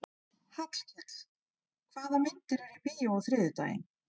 Hallkell, hvaða myndir eru í bíó á þriðjudaginn?